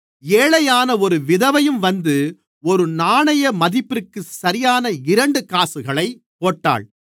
ஏழையான ஒரு விதவையும் வந்து ஒரு நாணய மதிப்பிற்கு சரியான இரண்டு காசுகளைப் போட்டாள்